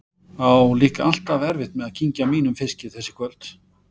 Á líka alltaf erfitt með að kyngja mínum fiski þessi kvöld.